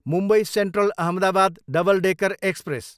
Mumbai Central, Ahmedabad double decker express